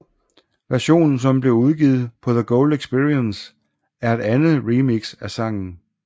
Versionen som blev udgivet på The Gold Experience er et andet remix af sangen